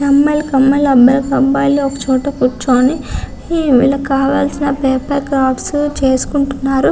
ఒక అమ్మాయి ఒక అబ్బాయి ఒక చోట కూర్చుని వీళ్ళకు కావాల్సిన పేపర్ క్రాఫ్ట్స్ చేసుకుంటున్నారు. .